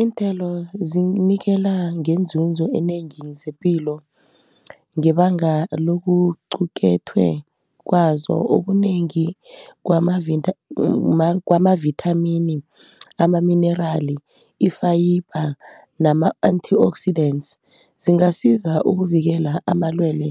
Iinthelo zinikela ngeenzuzo enengi zepilo ngebanga lokuqukethwe kwazo okunengi kwamavithamini, amaminerali, i-fibre nama-antioxidantes zingasiza ukuvikela amalwele